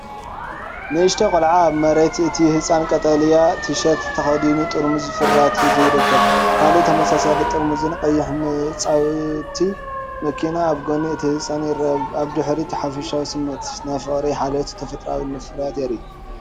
ንእሽተይ ቆልዓ ኣብ መሬት እቲ ህጻን ቀጠልያ ቲሸርት ተኸዲኑ፡ ጥርሙዝ ፍርያትሒዙ ይርከብ። ካልእ ተመሳሳሊ ጥርሙዝን ቀያሕ መጻወቲ መኪናን ኣብ ጎኒ እቲ ህጻን ይርአ። ኣብ ድሕሪት ሓፈሻዊ ስሚዒት ናይ ፍቕሪ፡ ሓልዮትን ተፈጥሮኣዊ ፍርያትን እዩ።